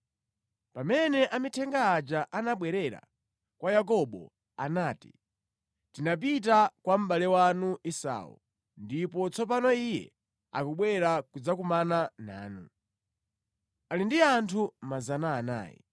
Pamene amithenga aja anabwerera kwa Yakobo, anati, “Tinapita kwa mʼbale wanu Esau, ndipo tsopano iye akubwera kudzakumana nanu. Ali ndi anthu 400.”